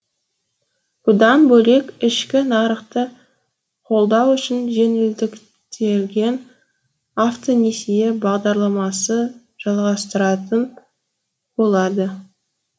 бұдан бөлек ішкі нарықты қолдау үшін жеңілдіктелген автонесие бағдарламасы жалғастыратын болады